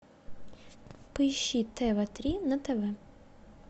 поищи тв три на тв